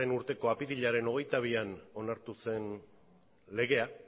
urteko apirilaren hogeita bian onartu zen legea